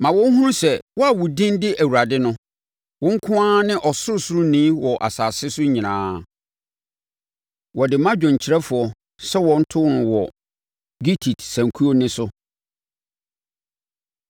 Ma wɔnhunu sɛ wo a wo din de Awurade no, wo nko ara ne Ɔsorosoroni wɔ asase so nyinaa. Wɔde ma dwomkyerɛfoɔ sɛ wɔnto no wɔ gittit sankuo nne so.